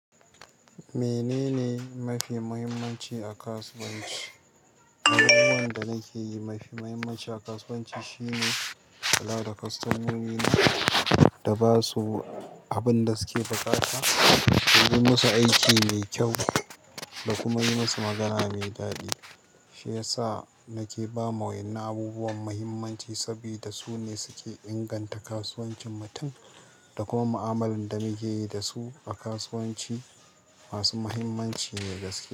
Menene mafi muhimmanci a kasuwanci? Abubuwan da nake yi mafi muhimmanci a kasuwanci shine kula da kostomomi na da ba su abin da suke buƙata, yi musu aiki mai kyau da kuma yi musu magana mai daɗi. Shi ya sa nake ba ma wa'innan abubuwan mahimmanci saboda su ne suke inganta kasuwancin mutum da kuma mu'amalar da muke yi da su a kasuwanci, masu mahimmanci na gaske.